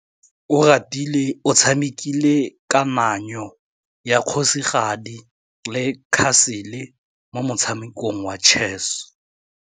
Oratile o tshamekile kananyô ya kgosigadi le khasêlê mo motshamekong wa chess.